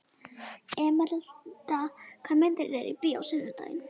Emeralda, hvaða myndir eru í bíó á sunnudaginn?